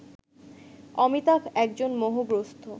অমিতাভ একজন মোহগ্রস্থ